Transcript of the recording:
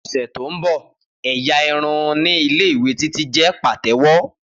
Ni ọsẹ to nbọ ẹ́yá irun ni Ile-iwe Titi jẹ patewo.